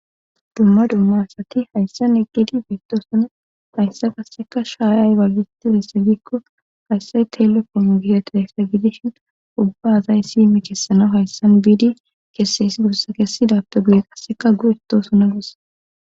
dumma dumma asati hayssan eqgedi biitto suna haysse kasseka shaayay baggitidesse giikko hayssay telefono gihetahyssa gidishin ubba azay si michessana hayssan biidi kesse is gursa kessi dabtogie qasseka gu itto suna gus